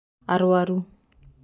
aruaru